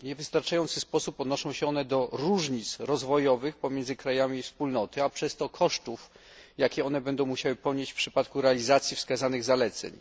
W niewystarczający sposób odnoszą się one do różnic rozwojowych pomiędzy krajami Wspólnoty, a przez to kosztów, jakie będą one musiały ponieść w przypadku realizacji wskazanych zaleceń.